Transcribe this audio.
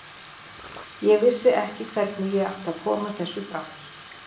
Ég vissi ekki hvernig ég átti að koma þessu frá mér.